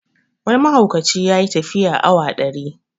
Wani mahaukaci ya yi tafiya awa ɗari